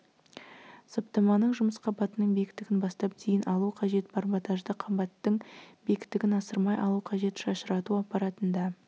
саптаманың жұмыс қабатының биіктігін бастап дейін алу қажет барботажды қабаттың биіктігін асырмай алу қажет шашырату аппаратында